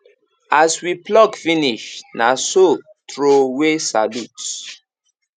as we pluck finish na so throw way salute